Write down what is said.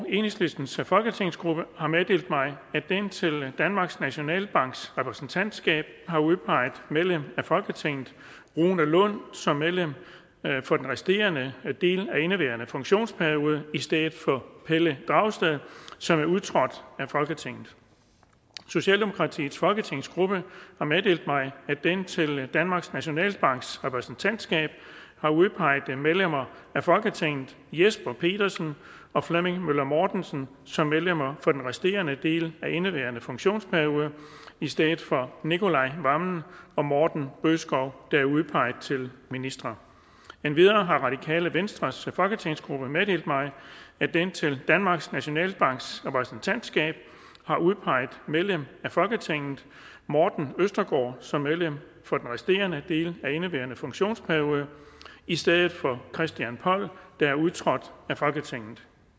enhedslistens folketingsgruppe har meddelt mig at den til danmarks nationalbanks repræsentantskab har udpeget medlem af folketinget rune lund som medlem for den resterende del af indeværende funktionsperiode i stedet for pelle dragsted som er udtrådt af folketinget socialdemokratiets folketingsgruppe har meddelt mig at den til danmarks nationalbanks repræsentantskab har udpeget medlemmer af folketinget jesper petersen og flemming møller mortensen som medlemmer for den resterende del af indeværende funktionsperiode i stedet for nicolai wammen og morten bødskov der er udpeget til ministre endvidere har radikale venstres folketingsgruppe meddelt mig at den til danmarks nationalbanks repræsentantskab har udpeget medlem af folketinget morten østergaard som medlem for den resterende del af indeværende funktionsperiode i stedet for christian poll der er udtrådt af folketinget